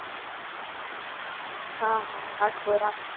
હા હા રાખો રાખો.